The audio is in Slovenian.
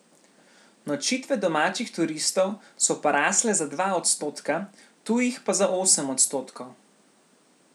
Nočitve domačih turistov so porasle za dva odstotka, tujih pa za osem odstotkov.